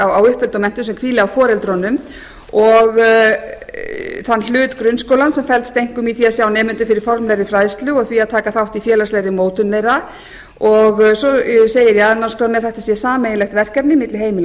á uppeldi og menntun sem hvíli á foreldrunum og þann hlut grunnskólans sem felst einkum í því að sjá nemendum fyrir formlegri fræðslu og því að taka þátt í félagslegri mótun þeirra og svo segir í aðalnámskránni að þetta sé sameiginlegt verkefni milli heimila og